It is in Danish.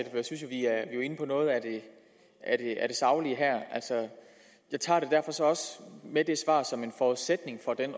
jo inde på noget af det saglige her jeg tager det derfor så også med det svar som en forudsætning for den